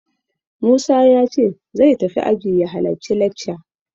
Musa ya ce zai tafi aji ya halacci lekca.